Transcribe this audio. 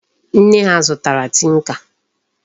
Nne ha zutara tinka.